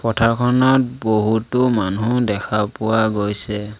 পথাৰখনত বহুতো মানুহ দেখা পোৱা গৈছে।